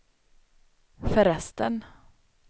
förresten